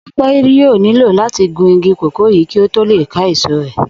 Ò̩pe̩ yóò nílò láti gun igi kòkó yìí kí ó tó lè ká èso rè̩